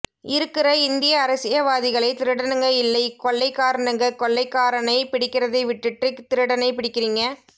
இருக்குற இந்திய அரசியவாதிகளை திருடனுங்க இல்லை கொள்ளைகரனுங்க கொள்ளைக்காரனை பிடிக்கிறதை விட்டுட்டு திருடனை பிடிக்கிறிங்க